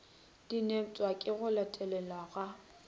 dinepša ke go latelelwa ga